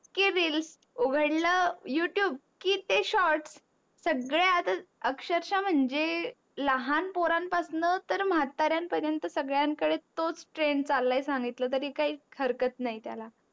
की reel उगडल youtube की ते shorts सगळे आता अक्षरक्षा म्हणजे लहान पोरान पासुन तर म्हाताऱ्यान पर्यन्त सगळ्यां कडे तोच trend चालाय सांगितल तरी काहीच हरकत नाही. त्याला